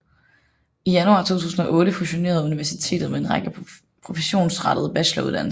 I januar 2008 fusionerede universitetet med en række professionsrettede bacheloruddannelser